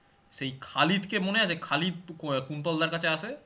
সেই খালিদ কে মনে আছে খালিদ কুন্তল দাড় কাছে আসে